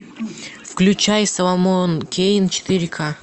включай соломон кейн четыре ка